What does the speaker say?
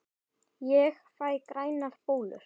Ég fæ grænar bólur!